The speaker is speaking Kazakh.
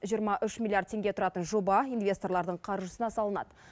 жиырма үш миллиард теңге тұратын жоба инвесторлардың қаржысына салынады